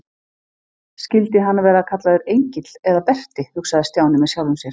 Skyldi hann vera kallaður Engill eða Berti hugsaði Stjáni með sjálfum sér.